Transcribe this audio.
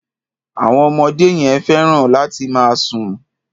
Àwọn ọmọdé yẹn fẹ́ràn láti máa sùn.